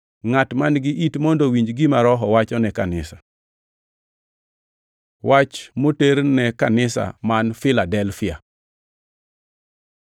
Ngʼat man-gi it mondo owinj gima Roho wacho ni kanisa. Wach moter ne kanisa man Filadelfia